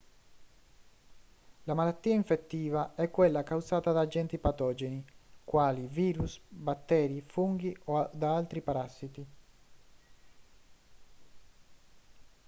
la malattia infettiva è quella causata da agenti patogeni quali virus batteri funghi o da altri parassiti